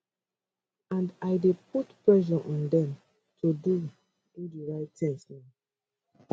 and i dey put pressure on dem to do do di right tins now